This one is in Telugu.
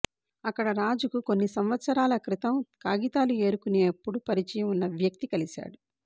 అక్కడ రాజుకు కొన్ని సంవత్సరాల క్రితం కాగితాలు ఏరుకునేప్పుడు పరిచయం ఉన్న వ్యక్తి కలిశాడు